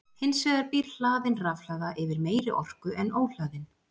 Hins vegar býr hlaðin rafhlaða yfir meiri orku en óhlaðin.